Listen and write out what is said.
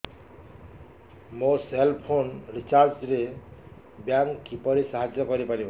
ମୋ cell phone recharge ରେ bank କିପରି ସାହାଯ୍ୟ କରିପାରିବ